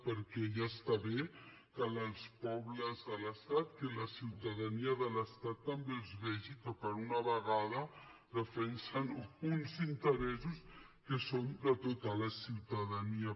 perquè ja està bé que els pobles de l’estat que la ciutadania de l’estat també els vegi que per una vegada defensen uns interessos que són de tota la ciutadania